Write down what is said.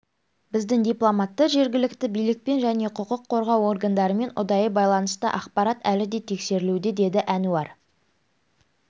біздің дипломаттар жергілікті билікпен және құқық қорғау органдарымен ұдайы байланыста ақпарат әлі де тексерілуде деді әнуар